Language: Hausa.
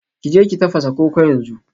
Ki je ki tafasa koko yanzu